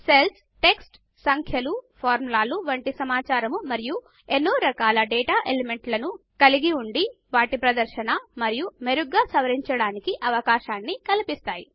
cells text సంఖ్యలు ఫార్ములాలు వంటి సమాచారం మరియు ఎన్నో రకాల డేటా ఎలిమెంట్లను కలిగి ఉండి వాటి ప్రదర్శన మరియు మెరుగ్గా సవరించడానికి అవకాశాన్ని కల్పిస్తాయి